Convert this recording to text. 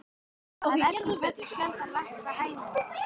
Að eggið fellur sjaldan langt frá hænunni!